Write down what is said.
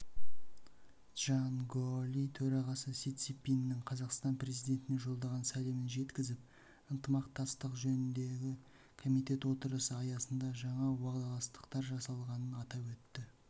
чжан гаоли төрағасы си цзиньпиннің қазақстан президентіне жолдаған сәлемін жеткізіп ынтымақтастық жөніндегі комитет отырысы аясында жаңа уағдаластықтар жасалғанын атап өтті